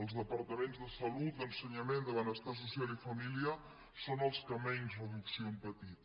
els departaments de salut d’ensenyament de benestar social i família són els que menys reducció han patit